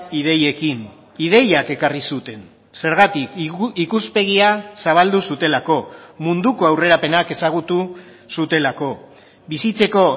ideiekin ideiak ekarri zuten zergatik ikuspegia zabaldu zutelako munduko aurrerapenak ezagutu zutelako bizitzeko